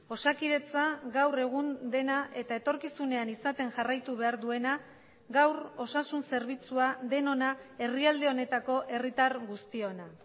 osakidetza gaur egun dena eta etorkizunean izaten jarraitu behar duena gaur osasun zerbitzua denona herrialde honetako herritar guztiona